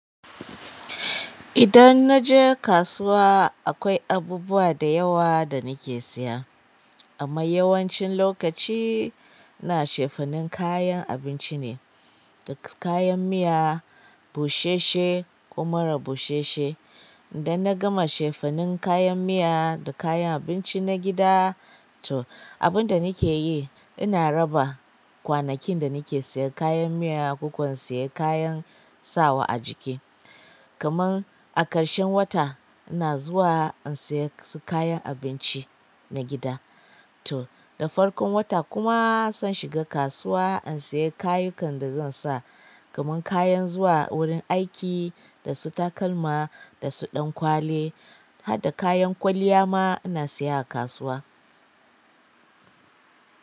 Idan na je kasuwa akwai abubuwa da yawa da nake siya amma yawancin lokaci ina cefanin kayan abinci ne, dasu kayan miya, bushe she, ko marabu she she. Dan na gama cefanin kayan miya da kayan abinci na gida tu. Abinda nake yi ina raba kwanakin da nake siyan kayan miya, ko kwa in siya kayan sawa a jiki. Kaman a ƙarshen wata ina zuwa in siya su kayan abinci na gida to. Da farkon wata kuma san shiga kasuwa in siya kayukan da zan sa kaman kayan zuwa wurin aiki, da su takalma, da su ɗan kwali, hadda kayan kwaliya ma ina siya a kasuwa.